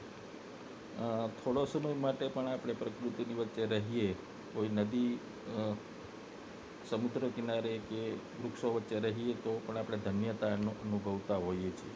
થોડા સમય માટે પણ આ પ્રકૃતિની વચ્ચે રહીએ કોઈ નદી સમુદ્ર કિનારે કે વૃક્ષો વચ્ચે રહીએ તો ધન્યતા અનુભવતા છીએ